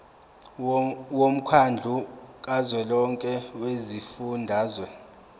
womkhandlu kazwelonke wezifundazwe